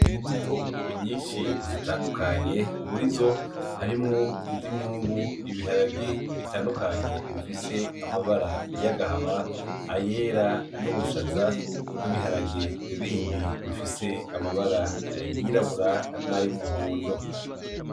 Imbuto nyinshi zitandukanye, murizo harimwo iz'imyungu, ibiharage bitandukanye bifise amabara yagahama, ayera. N'ubushaza, n'ibiharage bindi bifise amabara yirabura nay'umuhondo.